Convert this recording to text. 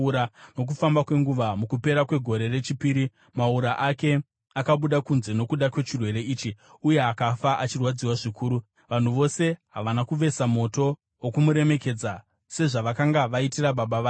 Nokufamba kwenguva mukupera kwegore rechipiri maura ake akabuda kunze nokuda kwechirwere ichi, uye akafa achirwadziwa zvikuru. Vanhu vose havana kuvesa moto wokumuremekedza sezvavakanga vaitira baba vake.